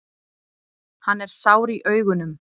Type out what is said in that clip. Hann er sár í augunum.